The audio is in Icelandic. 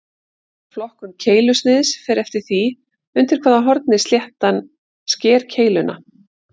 Flokkun keilusniðs fer eftir því undir hvaða horni sléttan sker keiluna.